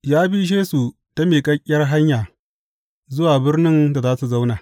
Ya bishe su ta miƙaƙƙiyar hanya zuwa birnin da za su zauna.